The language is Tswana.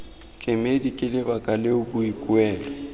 kemedi ke lebaka leo boikuelo